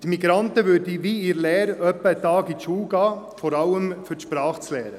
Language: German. Die Migranten würden wie in einer Lehre einen Tag in die Schule gehen, vor allem um die Sprache zu lernen.